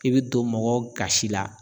I bi don mɔgɔw gasi la.